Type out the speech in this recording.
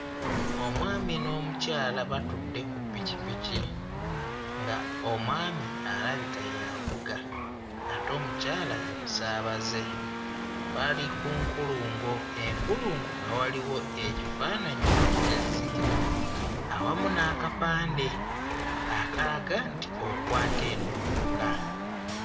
Omwami n'omukyala batudde ku ppikipiki ng'omwami alabika y'avuga ate omukyala ye musaabaze, bali ku nkulungo. Enkulungo nga waliwo ekifaananyi eky'ezzike awamu n'akapande akalaga nti okwata eno yokka.